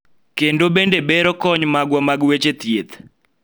kendo bende bero kony magwa mag weche thieth